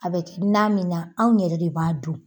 A bɛ na min na, anw yɛrɛw de b'a dun.